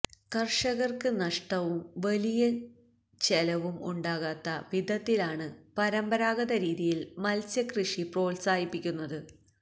കർഷകർക്ക് നഷ്ടവും വലിയ ചെലവും ഉണ്ടാകാത്ത വിധത്തിലാണ് പരമ്പരാഗത രീതിയിൽ മത്സ്യക്കൃഷി പ്രോത്സാഹിപ്പിക്കുന്നത്